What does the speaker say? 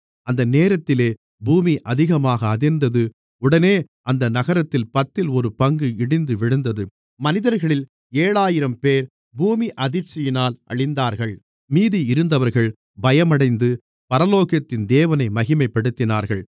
அந்த நேரத்திலே பூமி அதிகமாக அதிர்ந்தது உடனே அந்த நகரத்தில் பத்தில் ஒரு பங்கு இடிந்து விழுந்தது மனிதர்களில் ஏழாயிரம்பேர் பூமி அதிர்ச்சியினால் அழிந்தார்கள் மீதி இருந்தவர்கள் பயமடைந்து பரலோகத்தின் தேவனை மகிமைப்படுத்தினார்கள்